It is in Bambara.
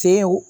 Tew